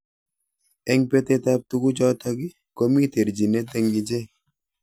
Eng betet ab tukujotok komi terjinet eng ichek.